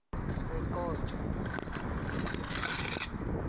eqonco